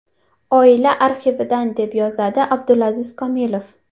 Oila arxividan”, deb yozdi Abdulaziz Komilov.